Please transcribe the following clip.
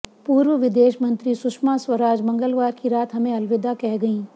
पूर्व विदेश मंत्री सुषमा स्वराज मंगलवार की रात हमें अलविदा कह गईं